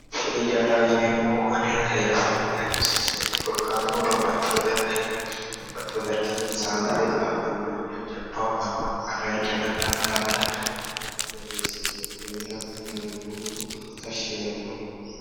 Kuni hijaaraho yineemmohu anera heerasinni hagiirsiisinoe. korkaatuno babbaxewo darga heere, saadate qaaqquulleho jajjabaho mannaho qarra iillisha dandaanno daafira kuni hijaari dihagiirsiisinoe konnira kuni hijaari hoogoommero tashshi yaannoe.